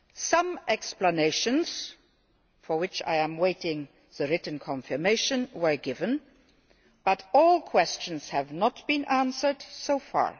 Some explanations, for which I am awaiting written confirmation, were given but not all questions have been answered so far.